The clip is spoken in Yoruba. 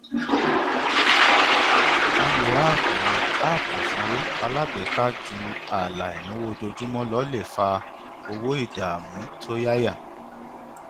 lílo áápù app ìsanwó alágbèéká ju ààlà ináwó ojoojúmọ lọ lè fa owó ìdáàmú tó yáyà